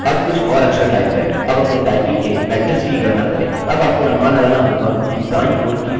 अब आपको अनुमान लगाना होगा कि दायीं ओर की फील्ड्स क्या दर्शाती हैं